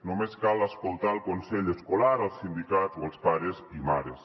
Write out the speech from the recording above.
només cal escoltar el consell escolar els sindicats o els pares i mares